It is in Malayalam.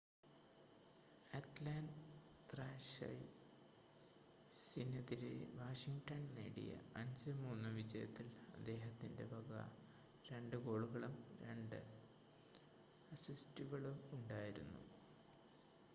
അറ്റ്ലാൻ്റ ത്രാഷേഴ്‌സിനെതിരെ വാഷിംഗ്ടൺ നേടിയ 5-3 വിജയത്തിൽ അദ്ദേഹത്തിൻ്റെ വക 2 ഗോളുകളും 2 അസിസ്റ്റുകളും ഉണ്ടായിരുന്നു